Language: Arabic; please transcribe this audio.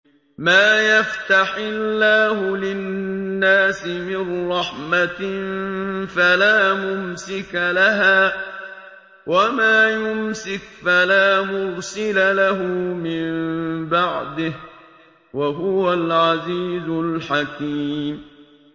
مَّا يَفْتَحِ اللَّهُ لِلنَّاسِ مِن رَّحْمَةٍ فَلَا مُمْسِكَ لَهَا ۖ وَمَا يُمْسِكْ فَلَا مُرْسِلَ لَهُ مِن بَعْدِهِ ۚ وَهُوَ الْعَزِيزُ الْحَكِيمُ